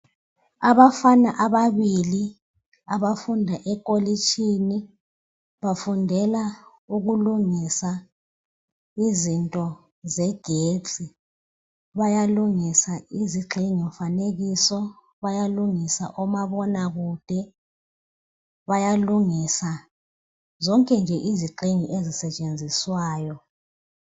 Abafana ababili abafunda ekolitshini, bafundela ukulungisa izinto zegetsi. Bayalungisa izigxingimfanekiso, bayalungisa omabonakude, bayalungisa zonke nje izigxingi ezisetshenziswayo.